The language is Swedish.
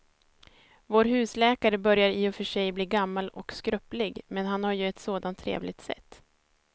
Vår husläkare börjar i och för sig bli gammal och skröplig, men han har ju ett sådant trevligt sätt!